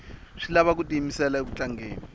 swi lava ku tiyimisela uku tlangeni